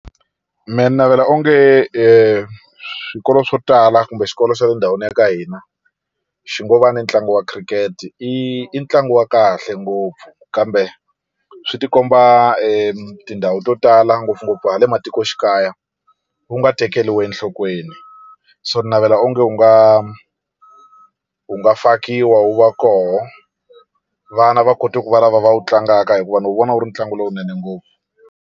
Mina ni navela onge swikolo swo tala kumbe xikolo xa le ndhawini ya ka hina xi ngo va na ntlangu wa Cricket i ntlangu wa kahle ngopfu kambe swi ti komba e tindhawu to tala ngopfungopfu hala matikoxikaya wu nga tekeriwi enhlokweni so ni navela onge wu nga wu nga fakiwa wu va kona vana va kota ku va lava va wu tlangaka hikuva ni wu vona wu ri ntlangu lowunene ngopfu.